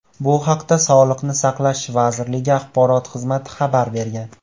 Bu haqda Sog‘liqni saqlash vazirligi axborot xizmati xabar bergan .